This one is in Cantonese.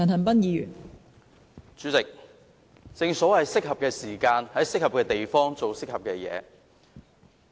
代理主席，正所謂在適合的時間、適合的地方做適合的事情。